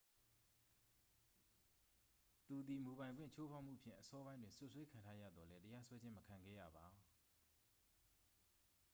သူသည် မူပိုင်ခွင့်ချိုးဖောက်မှုဖြင့် အစောပိုင်းတွင် စွပ်စွဲခံထားရသော်လည်း တရားစွဲခြင်း မခံခဲ့ရပါ